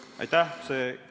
Aitäh!